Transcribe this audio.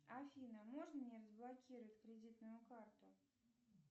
афина можно мне разблокировать кредитную карту